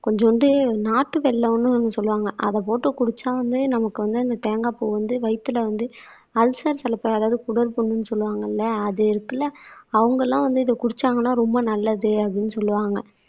கொஞ்சூண்டு நாட்டு வெல்லம்ன்னு ஒண்ணு சொல்லுவாங்க அத போட்டு குடிச்சா வந்து நமக்கு வந்து அந்த தேங்காய்ப்பூ வந்து வயித்துல வந்து அல்சர் சில பேர் அதாவது குடல்புண்ணுன்னு சொல்லுவாங்கல்ல அது இருக்குல்ல அவங்கெல்லாம் வந்து இத குடிச்சாங்கன்னா ரொம்ப நல்லது அப்படின்னு சொல்லுவாங்க